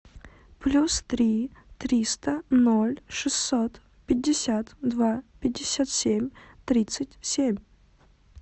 плюс три триста ноль шестьсот пятьдесят два пятьдесят семь тридцать семь